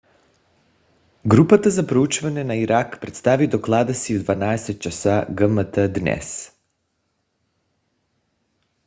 групата за проучване на ирак представи доклада си в 12:00 ч. gmt днес